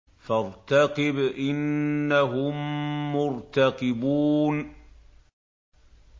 فَارْتَقِبْ إِنَّهُم مُّرْتَقِبُونَ